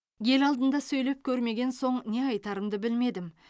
ел алдында сөйлеп көрмеген соң не айтарымды білмедім